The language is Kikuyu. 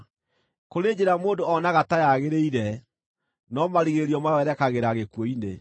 Kũrĩ njĩra mũndũ onaga ta yagĩrĩire, no marigĩrĩrio mayo yerekagĩra gĩkuũ-inĩ.